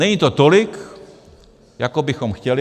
Není to tolik, jako bychom chtěli.